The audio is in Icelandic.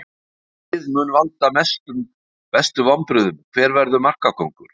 Hvaða lið mun valda mestu vonbrigðum Hver verður markakóngur?